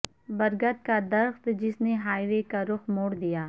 برگد کا درخت جس نے ہائی وے کا رخ موڑ دیا